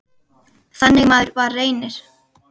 Þannig maður var Reynir.